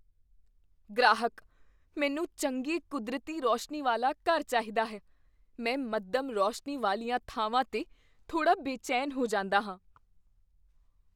ਗ੍ਰਾਹਕ, "ਮੈਨੂੰ ਚੰਗੀ ਕੁਦਰਤੀ ਰੋਸ਼ਨੀ ਵਾਲਾ ਘਰ ਚਾਹੀਦਾ ਹੈ, ਮੈਂ ਮੱਧਮ ਰੌਸ਼ਨੀ ਵਾਲੀਆਂ ਥਾਵਾਂ 'ਤੇ ਥੋੜਾ ਬੇਚੈਨ ਹੋ ਜਾਂਦਾ ਹਾਂ"